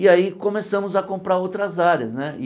E aí começamos a comprar outras áreas né e.